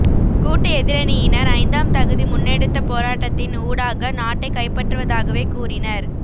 கூட்டு எதிரணியினர் ஐந்தாம் திகதி முன்னெடுத்த போராட்டத்தின் ஊடாக நாட்டை கைப்பற்றுவதாகவே கூறினர்